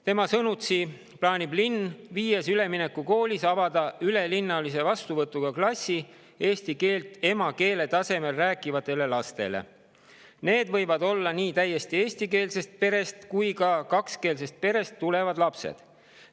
Tema sõnutsi plaanib linn viies üleminekukoolis avada ülelinnalise vastuvõtuga klassid eesti keelt emakeele tasemel rääkivatele lastele, nendeks võivad olla nii täiesti eestikeelsest perest kui ka kakskeelsest perest pärit lapsed.